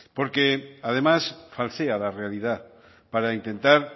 porque además falsea la realidad para intentar